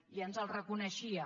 i ens el reconeixia